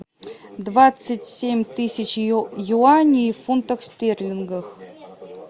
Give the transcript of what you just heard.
двадцать семь тысяч юаней в фунтах стерлингах